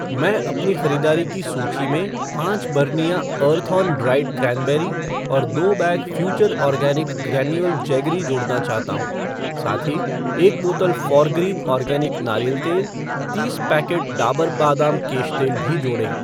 मैं अपनी ख़रीदारी की सूची में पाँच बरनियाँ अर्थऑन ड्राइड क्रैनबेरी और दो bag Future Organics granular jaggery जोड़ना चाहता हूँ। साथ ही, एक बोतल फ़ोरग्रीन आर्गेनिक नारियल तेल , तीस पैकेट डाबर बादाम केश तेल भी जोड़ें।